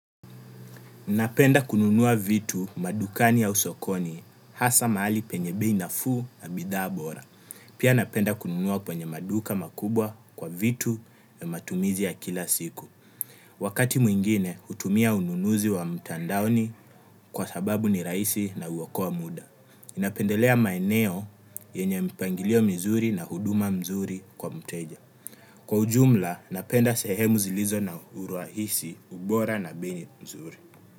Napenda kununua vitu madukani au sokoni hasa mahali penye bei nafu na bidhaa bora. Pia napenda kununua kwenye maduka makubwa kwa vitu ya matumizi ya kila siku. Wakati mwingine utumia ununuzi wa mtandaoni kwa sababu ni raisi na uwokoa muda. Napendelea maeneo yenye mpangilio mizuri na huduma mzuri kwa mteja. Kwa ujumla napenda sehemu zilizo na uruahisi ubora na bei ni mzuri.